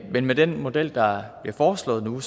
men med den model der er foreslået nu